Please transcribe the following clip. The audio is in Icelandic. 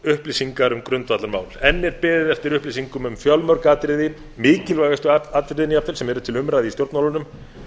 upplýsingar um grundvallarmál enn er beðið eftir upplýsingum um fjölmörg atriði mikilvægustu atriðin jafnvel sem eru til umræðu í stjórnmálunum